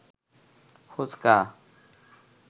fuchka